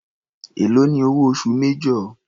Èló ni owó oṣù major.